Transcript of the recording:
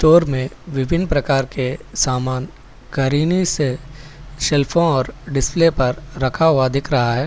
Door मे विभिन्न प्रकार के समान करीने से सेल्फोन डिस्प्ले पर रखा हुआ दिख रहा है।